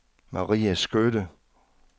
Marie Skytte